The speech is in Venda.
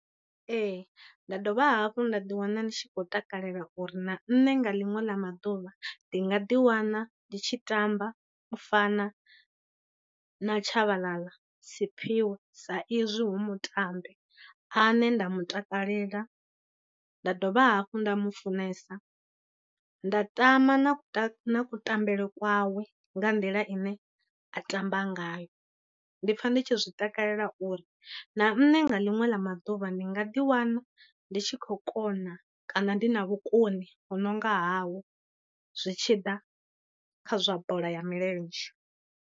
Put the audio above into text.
Ee nda dovha hafhu nda ḓiwana ndi tshi khou takalela uri na nṋe nga liṅwe ḽa maḓuvha ndi nga ḓiwana ndi tshi tamba u fana na Tshabalala Siphiwe sa izwi hu mutambi ane nda mutakalela nda dovha hafhu nda mu funesa nda, tama na kutambele kwawe, nga nḓila ine a tamba ngayo. Ndi pfa ndi tshi zwi takalela uri na nṋe nga ḽiṅwe ḽa maḓuvha ndi nga ḓiwana ndi tshi khou kona kana ndi na vhukoni ho no nga hawe zwi tshi ḓa kha zwa bola ya milenzhe.